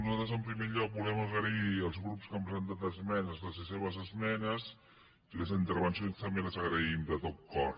nosaltres en primer lloc volem agrair als grups que han presentat esmenes les seves esmenes i les intervencions també les agraïm de tot cor